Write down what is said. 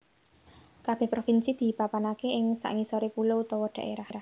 Kabèh provinsi dipapanaké ing sangisoré pulo utawa dhaérah